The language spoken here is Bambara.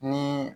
Ni